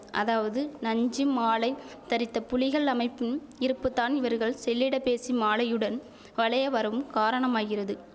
அதாவது நஞ்சு மாலை தரித்த புலிகள் அமைப்பின் இருப்புத்தான் இவர்கள் செல்லிடப்பேசி மாலையுடன் வளைய வரவும் காரணமாகிறது